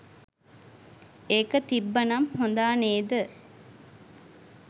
ඒක තිබ්බ නම් හොඳා නේද